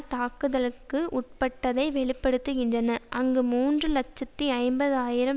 தாக்குதலுக்கு உட்பட்டதை வெளி படுத்துகின்றன அங்கு மூன்று இலட்சத்தி ஐம்பது ஆயிரம்